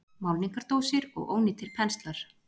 Málningardósir og ónýtir penslar.